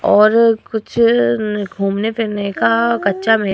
और कुछ न घूमने-फिरने का कच्चा मे --